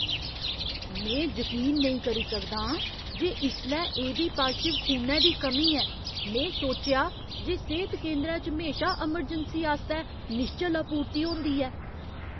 में जकीन नेईं करी सकदा आं जे इसलै एबी पाजटिव खूनै दी कमी ऐ। में सोचेआ जे सेह्त केंदरै च म्हेशा अमरजैंसी आस्तै निश्चल आपूर्ति होंदी ऐ।